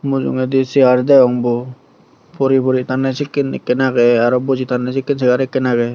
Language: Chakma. mujungedi seyar degong bo puri puri tanye sekken ekkan agey aro buji tanye sekken seyar ekkan agey.